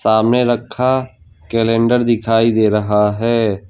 हमें रखा कैलेंडर दिखाई दे रहा है।